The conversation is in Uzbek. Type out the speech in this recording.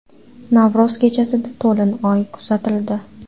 Navro‘z kechasida to‘lin oy kuzatildi.